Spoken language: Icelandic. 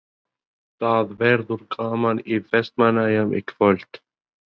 Það verður gaman í Vestmannaeyjum í kvöld?